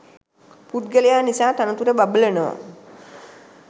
පුද්ගලයා නිසා තනතුර බබලනවා